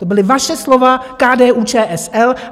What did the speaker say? To byla vaše slova - KDU-ČSL.